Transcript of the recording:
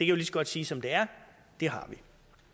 jo lige så godt sige som det er det har vi